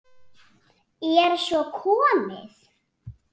Er svo komið?